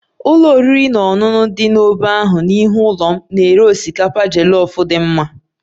Ụlọ oriri na ọṅụṅụ dị n'ógbè ahụ n'ihu ụlọ m na-ere osikapa jollof dị mma